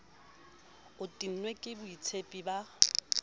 o tennwe ke boitshepi ba